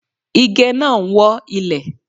Ige náà ń wọ́ ilẹ̀.